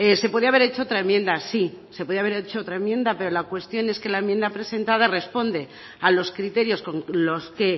se podía haber hecho otra enmienda sí se podía haber hecho otra enmienda pero la cuestión es que la enmienda presentada responde a los criterios con los que